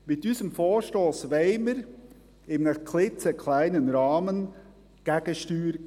Mit unserem Vorstoss wollen wir in einem klitzekleinen Rahmen Gegensteuer geben;